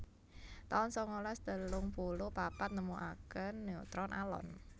taun sangalas telung puluh papat Nemokaken neutron alon